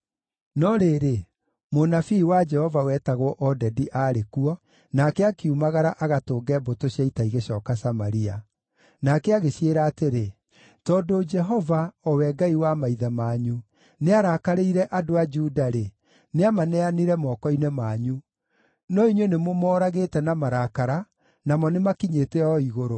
No rĩrĩ, mũnabii wa Jehova wetagwo Odedi aarĩ kuo, nake akiumagara agatũnge mbũtũ cia ita igĩcooka Samaria. Nake agĩciĩra atĩrĩ, “Tondũ Jehova, o we Ngai wa maithe manyu, nĩarakarĩire andũ a Juda-rĩ, nĩamaneanire moko-inĩ manyu. No inyuĩ nĩmũmooragĩte na marakara, namo nĩ makinyĩte o igũrũ.